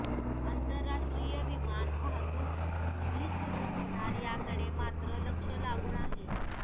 आंतरराष्ट्रीय विमान वाहतूक कधी सुरू होणार याकडे मात्र लक्ष लागून आहे